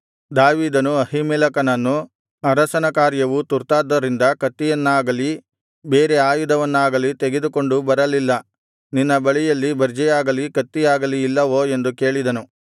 ದಾವೀದನು ಅಹೀಮೆಲೆಕನನ್ನು ಅರಸನ ಕಾರ್ಯವು ತುರ್ತಾದ್ದರಿಂದ ಕತ್ತಿಯನ್ನಾಗಲಿ ಬೇರೆ ಆಯುಧವನ್ನಾಗಲಿ ತೆಗೆದುಕೊಂಡು ಬರಲಿಲ್ಲ ನಿನ್ನ ಬಳಿಯಲ್ಲಿ ಬರ್ಜಿಯಾಗಲಿ ಕತ್ತಿಯಾಗಲಿ ಇಲ್ಲವೋ ಎಂದು ಕೇಳಿದನು